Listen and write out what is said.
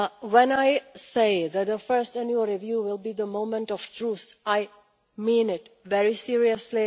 When I say that the first annual review will be the moment of truth, I mean it very seriously.